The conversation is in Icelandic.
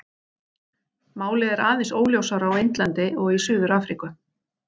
Málið er aðeins óljósara á Indlandi og í Suður-Afríku.